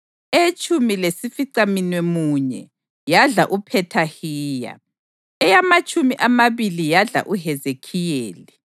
eyetshumi lesificamunwemunye yadla uPhethahiya, eyamatshumi amabili yadla uHezekhiyeli,